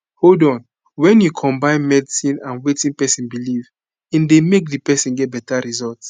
hold on wen u combine medicine and wetin pesin belief in dey make di person get beta result